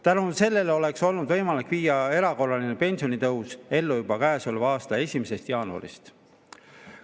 Tänu sellele oleks olnud võimalik viia erakorraline pensionitõus ellu juba k.a 1. jaanuarist.